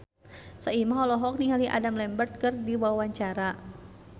Soimah olohok ningali Adam Lambert keur diwawancara